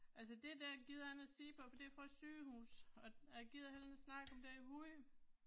Altså det der gider jeg ikke at se på, for det er fra et sygehus, og og jeg gider heller ikke at snakke om den hund